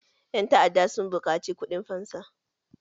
Ƴan ta'adda sun buƙaci kuɗin fansa.